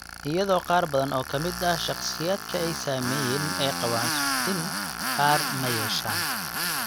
Iyadoo qaar badan oo ka mid ah shakhsiyaadka ay saameeyeen ay qabaan suuxdin, qaar ma yeeshaan.